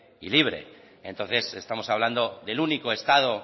y libre entonces estamos hablando del único estado